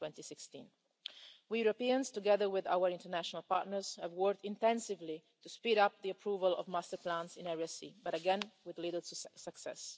2016. We Europeans, together with our international partners, have worked intensively to speed up the approval of master plans in Area C, but again, with little success.